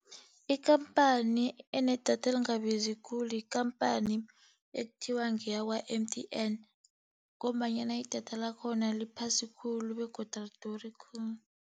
Ikhamphani enedatha lingabizi khulu ikampani ekuthiwa ngeyakwa-M_T_N ngombanyana idatha lakhona liphasi khulu begodu aliduri khulu.